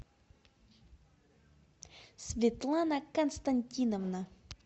светлана константиновна